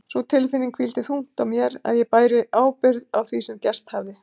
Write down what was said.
Sú tilfinning hvíldi þungt á mér að ég bæri ábyrgð á því sem gerst hafði.